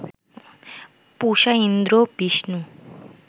Pusha, Indra, Vishnu